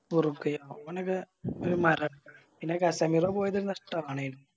ഉറുഗ്വ ആ ഓനൊക്കെ പിന്നെ പോയത് നഷ്ട്ടാണ്